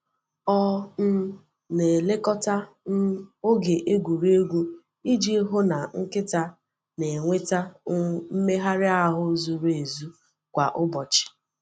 Ọ um na-elekọta um oge egwuregwu iji hụ na nkịta na-enweta um mmegharị ahụ zuru ezu kwa ụbọchị.